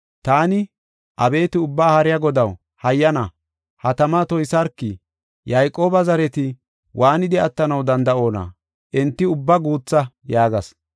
Taani, “Abeeti, Ubbaa Haariya Godaw, hayyana ha tama toysarki! Yayqooba zareti waanidi attanaw danda7oona? Enti ubba guutha!” yaagas.